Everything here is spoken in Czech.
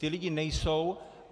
Ti lidé nejsou.